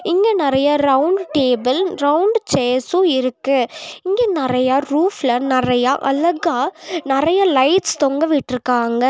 இங்க நறைய round table round chairs இருக்கு இங்க நறையா ரூஃப்ல நறையா அழகா நறைய லைட்ஸ் தொங்கவிட்டுருக்காங்க.